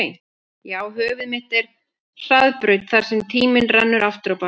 Já höfuð mitt er hraðbraut þar sem tíminn rennur aftur á bak